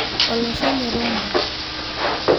Olosho le Rwanda.